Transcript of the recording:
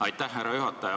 Aitäh, härra juhataja!